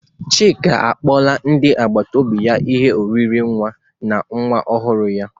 Chika akpọla ndị akpata obi ya ihe oriri nwa n'ihi nwa ọhụrụ ya.